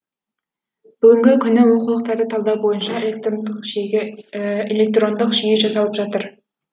бүгінгі күні оқулықтарды талдау бойынша электрондық жүйе жасалып жатыр